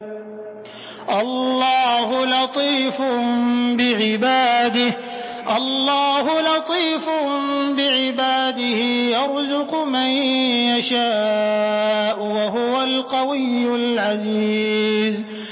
اللَّهُ لَطِيفٌ بِعِبَادِهِ يَرْزُقُ مَن يَشَاءُ ۖ وَهُوَ الْقَوِيُّ الْعَزِيزُ